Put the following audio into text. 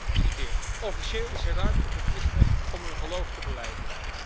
Ik citeer Officieel is er ruimte voor christenen om hun geloof te belijden.